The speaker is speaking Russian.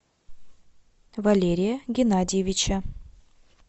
валерия геннадьевича